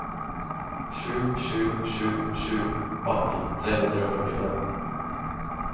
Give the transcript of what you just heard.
sju sju sju sju atten tre hundre og førtifem